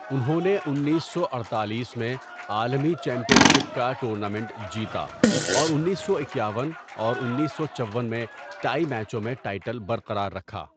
انہوں نے انیس سو اڈتالیس میں عالمی چیمپئن شپ کا ٹورنامنٹ جیتا اور انیس سو اکیاون اور انیس سو چون میں ٹائی میچوں میں ٹائٹل برقرار رکھا۔